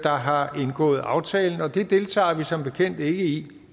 har indgået aftalen og det deltager vi som bekendt ikke i